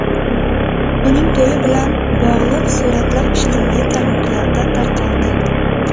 Uning to‘yi bilan bog‘liq suratlar ijtimoiy tarmoqlarda tarqaldi.